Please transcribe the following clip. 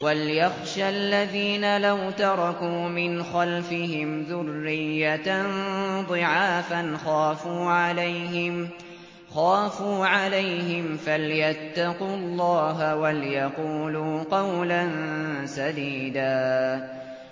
وَلْيَخْشَ الَّذِينَ لَوْ تَرَكُوا مِنْ خَلْفِهِمْ ذُرِّيَّةً ضِعَافًا خَافُوا عَلَيْهِمْ فَلْيَتَّقُوا اللَّهَ وَلْيَقُولُوا قَوْلًا سَدِيدًا